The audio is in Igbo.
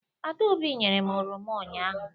Adaobi nyere m oroma ụnyahụ.